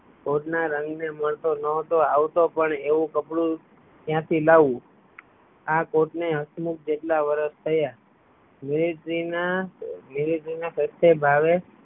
કોટ ના રંગ ને મળતો ન હતો આવું તો પણ આવું કપડું ક્યાં થી લાવવું આ કોટ ને હસમુખ જેટલા વરસ થયા મિલ્ટ્રી ના